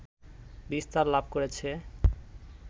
বিস্তার লাভ করেছে